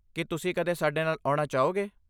ਕੀ ਤੁਸੀਂ ਕਦੇ ਸਾਡੇ ਨਾਲ ਆਉਣਾ ਚਾਹੋਗੇ?